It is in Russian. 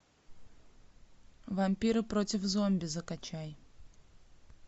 вампиры против зомби закачай